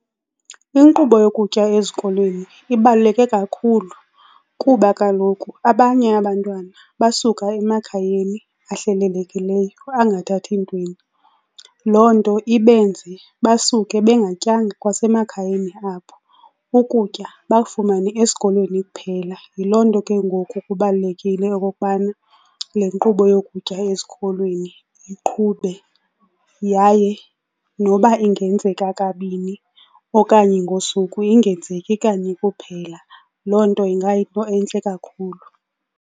Inkqubo yokutya ezikolweni ibaluleke kakhulu kuba kaloku abanye abantwana basuka emakhayeni ahlelelekileyo angathathi ntweni. Loo nto ibenze basuke bengatyanga kwasemakhayeni abo, ukutya bakufumane esikolweni kuphela. Yiloo nto ke ngoku kubalulekile okokubana le nkqubo yokutya ezikolweni iqhube yaye noba ingenzeka kabini okanye ngosuku, ingenzeki kanye kuphela. Loo nto ingayinto entle kakhulu.